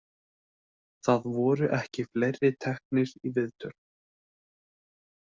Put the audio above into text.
Það voru ekki fleiri teknir í viðtöl.